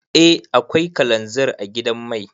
Eh akwai kalanzir a gidan mai.